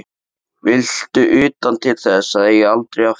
Viltu utan til þess að eiga aldrei afturkvæmt?